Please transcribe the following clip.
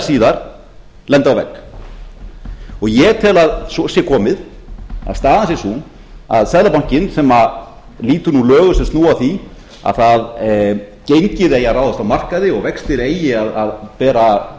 síðar lenda á vegg ég tel að svo sé komið að staðan sé sú að seðlabankinn sem lýtur nú lögum sem snúa að því að gengið eigi að ráðast af markaði og eftir eigi að bera